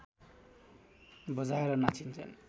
बजाएर नाचिन्छ